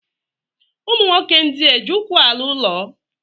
ụmụ nwoke ndị a eji ụkwụ ala ụlọ?